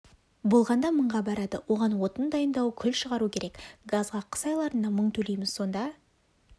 болғанда мыңға барады оған отын дайындау күл шығару керек газға қыс айларында мың төлейміз сонда